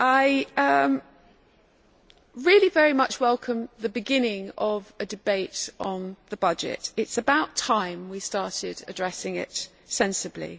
I very much welcome the beginning of a debate on the budget it is about time we started addressing it sensibly.